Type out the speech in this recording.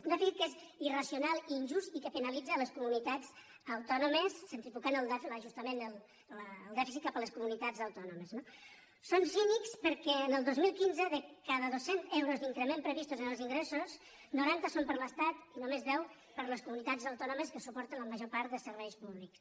un dèficit que és irracio·nal i injust i que penalitza les comunitats autònomes en centrifugar el dèficit cap a les comunitats autòno·mes no són cínics perquè el dos mil quinze de cada dos·cents euros d’increment previstos en els ingressos noranta són per a l’estat i només deu per a les comunitats autònomes que suporten la major part de serveis públics